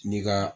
N'i ka